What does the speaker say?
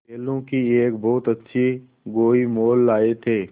बैलों की एक बहुत अच्छी गोई मोल लाये थे